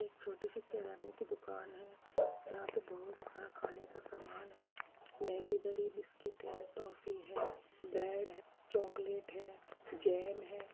एक छोटी सी किराने की दुकान है। यहाँ पे बहुत सारा खाने का सामान है मैगी धरी बिस्किट है टॉफी है ब्रेड है चाकलेट है जैम है।